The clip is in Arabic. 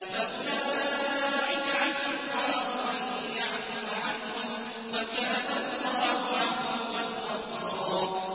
فَأُولَٰئِكَ عَسَى اللَّهُ أَن يَعْفُوَ عَنْهُمْ ۚ وَكَانَ اللَّهُ عَفُوًّا غَفُورًا